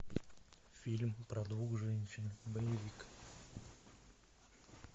фильм про двух женщин боевик